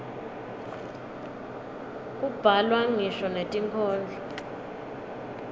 kubhalwa ngisho netinkhondlo